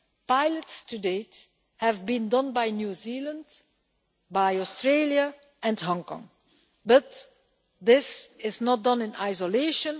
Pilots to date have been done by New Zealand, Australia and Hong Kong, but this is not done in isolation.